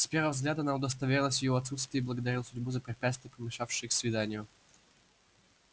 с первого взгляда она удостоверилась в его отсутствии и благодарила судьбу за препятствие помешавшее их свиданию